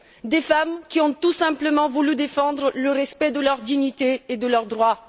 À des femmes qui ont tout simplement voulu défendre le respect de leur dignité et de leurs droits.